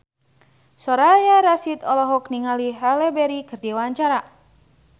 Soraya Rasyid olohok ningali Halle Berry keur diwawancara